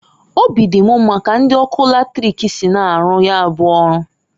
Obi di m mma ka ndi ọrụ latrik si na-aru ya bu ọrụ.